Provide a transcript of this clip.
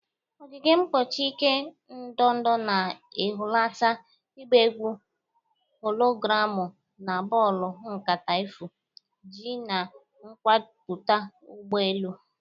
Ogige mgbochi ike ndọda na-ehulata, ịgba egwu hologramu na bọọlụ nkata efu-G na-akọwapụta ụgbọ elu.